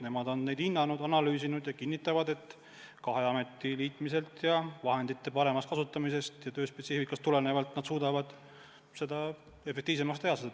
Nemad on kõike hinnanud ja analüüsinud ja kinnitavad, et kahe ameti liitmise korral saab vahendeid paremini kasutada ja üldse on võimalik tööspetsiifikast lähtudes kogu tööd efektiivsemaks teha.